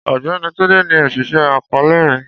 Ọgbẹni Tunde ni oṣiṣẹ akọọlẹ mi.